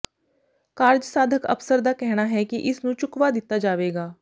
ਕਾਰਜਸਾਧਕ ਅਫ਼ਸਰ ਦਾ ਕਹਿਣਾ ਹੈ ਕਿ ਇਸ ਨੂੰ ਚੁੱਕਵਾ ਦਿੱਤਾ ਜਾਵੇਗਾ